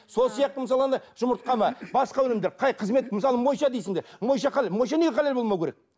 сол сияқты мысалы ана жұмыртқа ма басқа өнімдер қай қызмет мысалы монша дейсіңдер монша монша неге халал болмауы керек